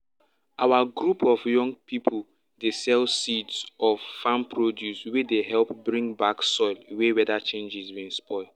our group of young pipo dey sell seeds of farm produce wey dey help bring back soil wey weather changes bin spoil